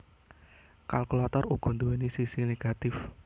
Kalkulator uga nduwèni sisi negatif